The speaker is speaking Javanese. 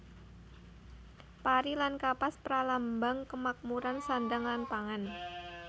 Pari lan Kapas pralambang kamakmuran sandang lan pangan